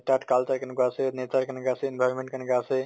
তাত culture কেনুকা আছে, nature কেনেকা আছে, environment কেনেকা আছে